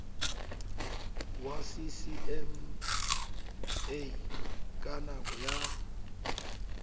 wa ccma ka nako ya